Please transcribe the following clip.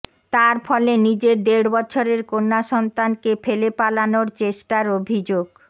তার ফলে নিজের দেড় বছরের কন্যাসন্তানকে ফেলে পালানোর চেষ্টার অভিযোগ